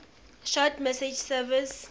short message service